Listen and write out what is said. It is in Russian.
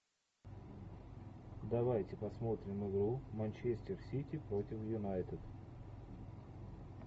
давайте посмотрим игру манчестер сити против юнайтед